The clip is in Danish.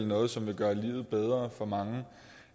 noget som vil gøre livet bedre for mange